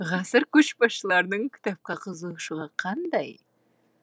ғасыр көшбасшыларының кітапқа қызығушылығы қандай